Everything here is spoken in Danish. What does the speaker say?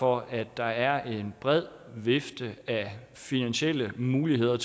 for at der er en bred vifte af finansielle muligheder